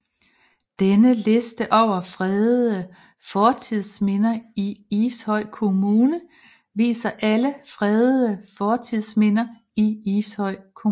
Denne liste over fredede fortidsminder i Ishøj Kommune viser alle fredede fortidsminder i Ishøj Kommune